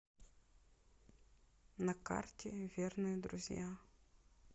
на карте верные друзья